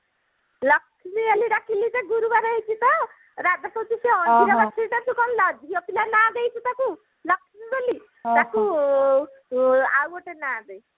ଲକ୍ଷ୍ମୀ ବୋଲି ଡାକିଲି ତ ଗୁରୁବାରେ ହେଇଛି ତ ରାଜା କହୁଛି ସେ ଅଣ୍ଡିରା ବାଛୁରିଟା ତୁ କଣ ଝିଅପିଲା ନାଁ ଦେଇଛି ତାକୁ ଲକ୍ଷ୍ମୀ ବୋଲି ତାକୁ ଆଁ ଆଉ ଗୋଟେ ନାଁ ଦେ